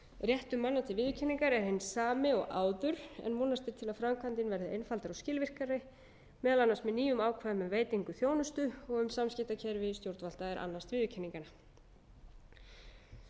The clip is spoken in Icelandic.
réttur manna til viðurkenningar er hinn sami og áður en vonast er til að framkvæmdin verði einfaldari og skilvirkari meðal annars með nýjum ákvæðum um veitingu þjónustu og um samskiptakerfi stjórnvalda er annast viðurkenningarnar ég